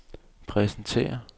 præsenterer